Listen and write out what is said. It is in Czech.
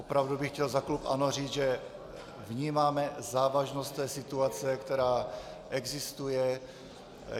Opravdu bych chtěl za klub ANO říct, že vnímáme závažnost té situace, která existuje.